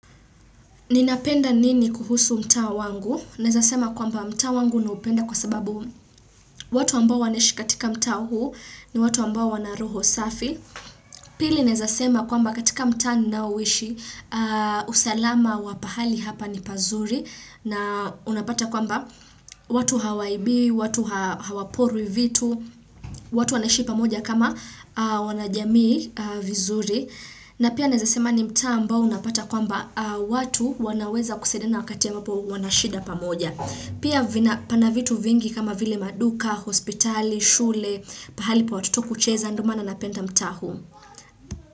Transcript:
Ninapenda nini kuhusu mtaa wangu? Naezasema kwamba mtaa wangu naupenda kwa sababu watu ambao wanaishi katika mtaa huu ni watu ambao wana roho safi. Pili naezasema kwamba katika mtaa ninauishi usalama wa pahali hapa ni pazuri na unapata kwamba watu hawaibi, watu hawaporwi vitu, watu wanaishi pamoja kama wanajamii vizuri. Na pia naezasema ni mtaa ambao unapata kwamba watu wanaweza kusaidiana wakati ambapo wanashida pamoja. Pia pana vitu vingi kama vile maduka, hospitali, shule, pahali pa watoto kucheza ndiomana napenda mtaa huu.